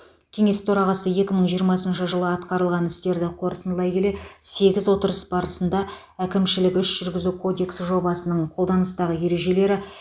кеңес төрағасы екі мың жиырмасыншы жылы атқарылған істерді қорытындылай келе сегіз отырыс барысында әкімшілік іс жүргізу кодексі жобасының қолданыстағы ережелері